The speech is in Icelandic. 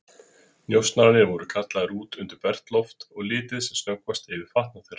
Njósnararnir voru kallaðir út undir bert loft og litið sem snöggvast yfir fatnað þeirra.